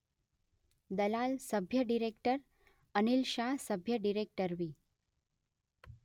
દલાલ સભ્ય ડિરેક્ટર અનિલ શાહ સભ્ય ડિરેક્ટરવી.